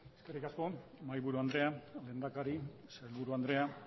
eskerrik asko mahaiaburu andrea lehendakari sailburu andrea